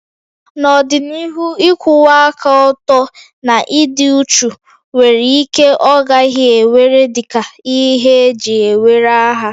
N'ọdịnihu, ịkwụwa aka ọtọ na ịdị uchu nwere ike ọ gaghị ewere dị ka ihe eji ewere aha